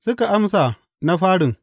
Suka amsa, Na farin.